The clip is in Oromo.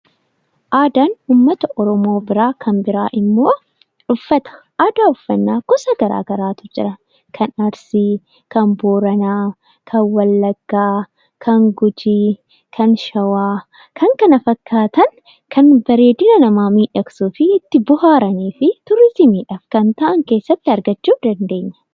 Aadaan uummata Oromoo biraa kan biraan immoo uffata. Aadaa uffannaa gosa garaa garaatu jira kan Arsii, Booranaa, Wallaggaa, Gujii, Shawaa fi kanneen biroo kan bareedina namaa miidhagsuufi itti bohaaruu fi turizimiif kan ta'an keessatti argachuu dandeenya.